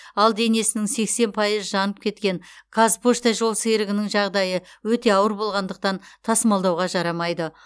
ал денесінің сексен пайызы жанып кеткен қазпошта жолсерігінің жағдайы өте ауыр болғандықтан тасымалдауға жарамайды